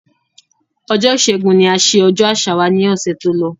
Ọjọ́ ìṣẹ́gun ni a ṣe ọjọ́ àṣà wa ni ọ̀sẹ̀ tó lọ